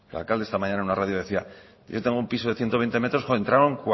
oiga el alcalde esta mañana en una radio decía yo tengo un piso de ciento veinte metros entraron